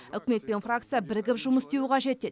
үкімет пен фракция бірігіп жұмыс істеуі қажет деді